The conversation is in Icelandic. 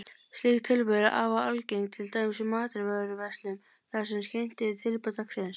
Slík tilboð eru afar algeng, til dæmis í matvöruverslunum þar sem kynnt eru tilboð dagsins.